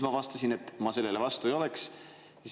Ma vastasin, et ma sellele vastu ei oleks.